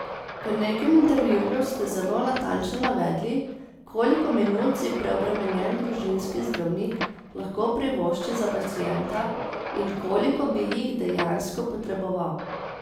V nekem intervjuju ste zelo natančno navedli, koliko minut si preobremenjen družinski zdravnik lahko privošči za pacienta in koliko bi jih dejansko potreboval.